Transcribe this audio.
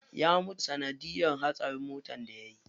Ya mutu sanadiyar hatsarin motar da yayi.